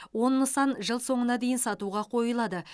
он нысан жыл соңына дейін сатуға қойылады